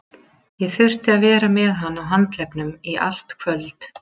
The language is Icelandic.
Ég þurfti að vera með hann á handleggnum í allt kvöld.